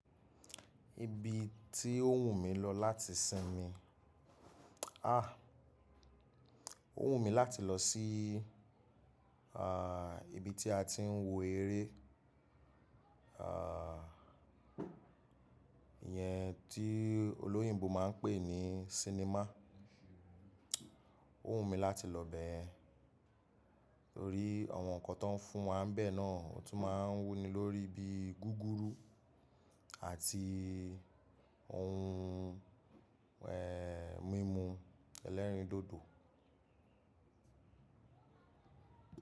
Ibi tí ó wù mí lọ láti sinmi, ó wù mí láti lọ sí, ibi tí a ti ń wo eré, iyẹn tí olóyìnbo máa ń pè ní sinimá. Ó wù mí láti lọ bẹ́ẹ̀, torí àwọn nǹkan tó ń fún wa bẹ́ẹ̀ náà, ó tún máa ń wú ni lórí ibi gúgúrú àti oun, mímu ẹlẹ́rìndòdò.